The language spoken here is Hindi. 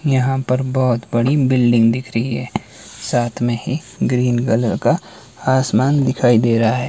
यहां पर बहोत बड़ी बिल्डिंग दिख रही है साथ में ही ग्रीन कलर का आसमान दिखाई दे रहा है।